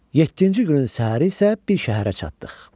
Yeddinci günün səhəri isə bir şəhərə çatdıq.